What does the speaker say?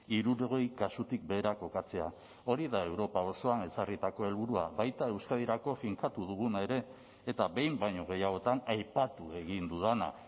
hirurogei kasutik behera kokatzea hori da europa osoan ezarritako helburua baita euskadirako finkatu duguna ere eta behin baino gehiagotan aipatu egin dudana